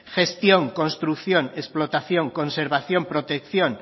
gestión construcción explotación conservación protección